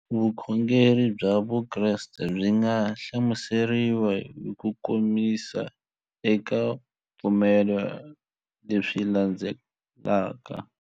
Vukhongeri bya Vukreste byi nga hlamuseriwa hi kukomisa eka ku pfumela leswi landzelaka.